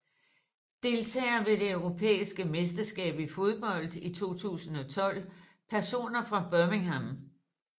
Deltagere ved det europæiske mesterskab i fodbold 2012 Personer fra Birmingham